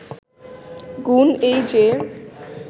গুণ এই যে